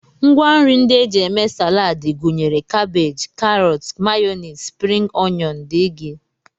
Ngwanri ndị e ji eme Salad gụnyere kabej, karọt, mayọnis, spring oyọn, dg